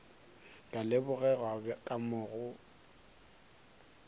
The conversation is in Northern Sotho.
ka lebogega ka moo go